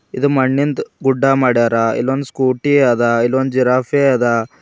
ಇದು ಮಣ್ಣಿಂದು ಗುಡ್ಡ ಮಾಡ್ಯಾರ ಇಲ್ಲೊಂದು ಸ್ಕೂಟಿ ಅದ ಇಲ್ಲೊಂದು ಜಿರಾಫೆ ಅದ.